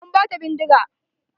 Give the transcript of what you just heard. An bata bindiga.